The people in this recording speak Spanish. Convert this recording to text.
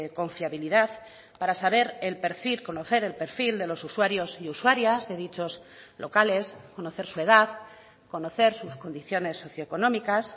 con fiabilidad para saber el perfil conocer el perfil de los usuarios y usuarias de dichos locales conocer su edad conocer sus condiciones socioeconómicas